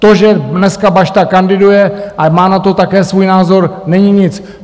To, že dneska Bašta kandiduje a má na to také svůj názor, není nic.